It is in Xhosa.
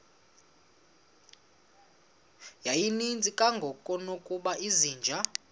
yayininzi kangangokuba izinja